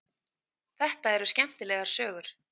Þetta eru skemmtilegar sögur.